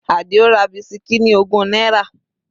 Adio ra bisikí ní ogún náírà.